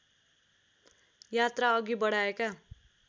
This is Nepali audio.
यात्रा अघि बढाएका